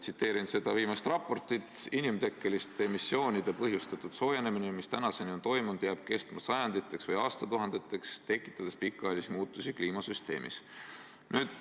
Tsiteerin viimast raportit: "Inimtekkeliste emissioonide põhjustatud soojenemine, mis tänaseni on toimunud, jääb kestma sajanditeks või aastatuhandeteks, tekitades pikaajalisi muutusi kliimasüsteemis.